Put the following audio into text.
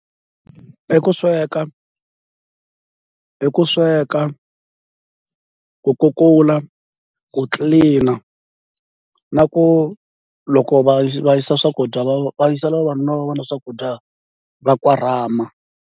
I ku sweka i ku sweka, ku kukula, ku tlilina na ku loko va va yisa swakudya va va yisela vavanuna va vona swakudya va korhama.